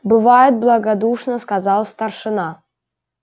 бывает благодушно сказал старшина